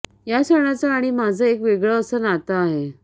या सणाचं आणि माझं एक वेगळं असं नातं आहे